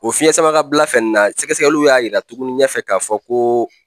O fiɲɛsamakabila fɛnɛ na sɛgɛsɛgɛliw y'a yira tuguni ɲɛfɛ k'a fɔ ko,